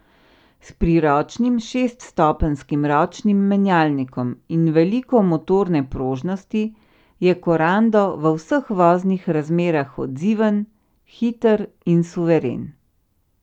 S priročnim šeststopenjskim ročnim menjalnikom in veliko motorne prožnosti je korando v vseh voznih razmerah odziven, hiter in suveren.